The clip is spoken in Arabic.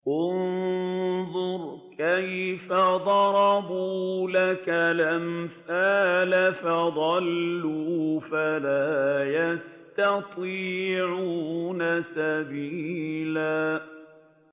انظُرْ كَيْفَ ضَرَبُوا لَكَ الْأَمْثَالَ فَضَلُّوا فَلَا يَسْتَطِيعُونَ سَبِيلًا